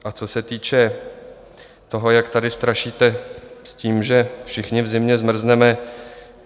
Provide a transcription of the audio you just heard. A co se týče toho, jak tady strašíte s tím, že všichni v zimě zmrzneme.